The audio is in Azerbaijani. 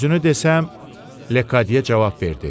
Düzünü desəm, Lekqadiya cavab verdi.